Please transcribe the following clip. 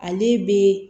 Ale be